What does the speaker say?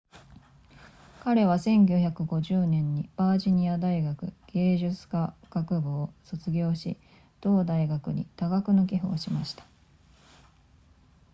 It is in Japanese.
彼は1950年にバージニア大学芸術科学部を卒業し同大学に多額の寄付をしました